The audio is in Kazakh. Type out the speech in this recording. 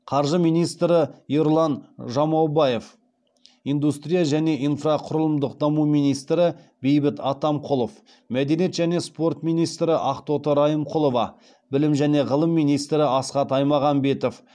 қаржы министрі ерұлан жамаубаев индустрия және инфрақұрылымдық даму министрі бейбіт атамқұлов мәдениет және спорт министрі ақтоты райымқұлова білім және ғылым министрі асхат аймағамбетов